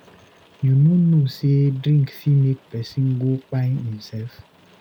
You no know sey drink fit make pesin go kpai imsef?